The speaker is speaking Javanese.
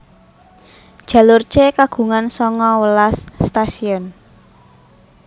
Jalur C kagungan sanga welas stasiun